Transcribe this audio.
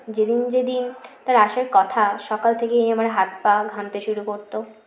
যেদিন যেদিন তার আসার কথা সকাল থেকেই আমার হাত পা ঘামতে শুরু করত